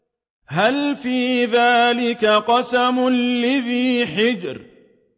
هَلْ فِي ذَٰلِكَ قَسَمٌ لِّذِي حِجْرٍ